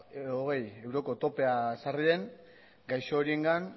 hogei euroko topea ezarri den gaixo horiengan